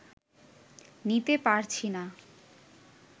নিতে পারছি না